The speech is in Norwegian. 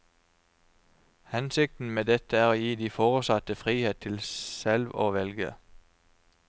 Hensikten med dette er å gi de foresatte frihet til selv å velge.